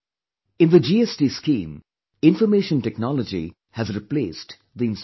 In the GST scheme, information technology has replaced the inspector